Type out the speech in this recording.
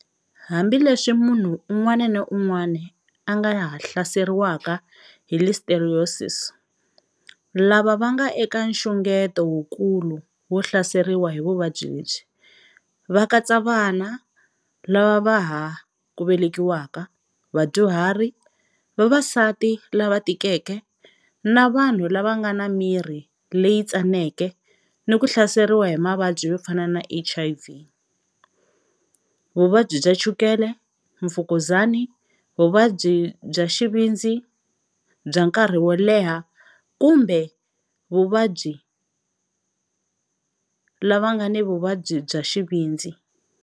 Hambileswi munhu un'wana ni un'wana a nga ha hlaseriwaka hi listeriosis, lava va nga eka nxungeto wukulu wo hlaseriwa hi vuvabyi lebyi va katsa vana lava va ha ku velekiwaka, vadyuhari, vavasati lava tikeke, na vanhu lava nga na miri leyi tsaneke ni ku hlaseriwa hi mavabyi yo fana na HIV, vuvabyi bya chukele, mfukuzani, vuvabyi bya xivindzi bya nkarhi wo leha kumbe vuvabyi lava va nga na vuvabyi bya xivindzi.